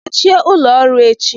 Gbachie ụlọ ọrụ echi!